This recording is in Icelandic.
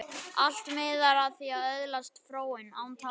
Allt miðar að því að öðlast fróun, án tafar.